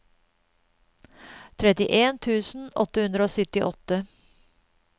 trettien tusen åtte hundre og syttiåtte